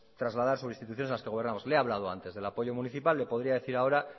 trasladar sobre instituciones en las que gobernamos le he hablado antes del apoyo municipal le podría decir ahora